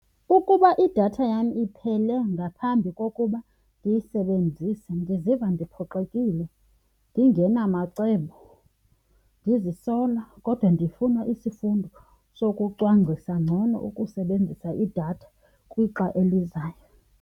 Ukuba idatha yam iphele ngaphambi kokuba ndiyisebenzise ndiziva ndiphoxekile, ndingenamacebo, ndizisola kodwa ndifuna isifundo sokucwangcisa ngcono ukusebenzisa idatha kwixa elizayo.